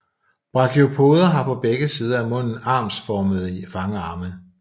Brachiopoder har på begge sider af munden armformede fangarme